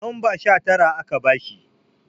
lamba Sha Tara aka bashi